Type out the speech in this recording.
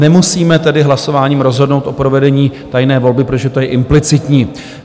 Nemusíme tedy hlasováním rozhodnout o provedení tajné volby, protože to je implicitní.